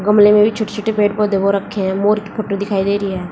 गमले में भी छोटे छोटे पेड़ पौधे हो रखे हैं मोर की फोटो दिखाई दे रही है।